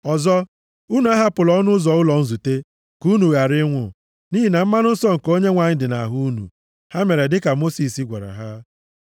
Ọzọ, unu ahapụla ọnụ ụzọ ụlọ nzute, ka unu ghara ịnwụ, nʼihi na mmanụ nsọ nke Onyenwe anyị dị nʼahụ unu.” Ha mere dịka Mosis gwara ha.